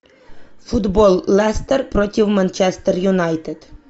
футбол лестер против манчестер юнайтед